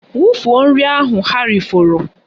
Wufuo nri ahụ ha rifọrọ!